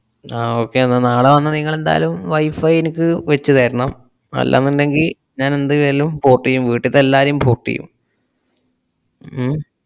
ആ okay എന്നാ നാളെ വന്നാ നിങ്ങളെന്തായാലും wifi എനിക്ക് വെച്ചുതരണം. അല്ലാന്നുണ്ടെങ്കി ഞാൻ എന്തായാലും port എയ്യും വീട്ടുത്തെ എല്ലാരേയും port എയ്യും ഹും?